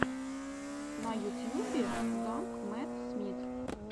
на ютьюбе данг мэтт смит